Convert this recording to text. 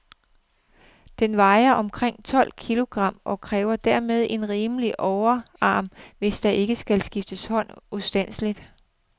Den vejer omkring tolv kilogram, og kræver dermed en rimelig overarm, hvis der ikke skal skifte hånd ustandseligt.